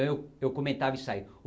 Então eu eu comentava isso aí.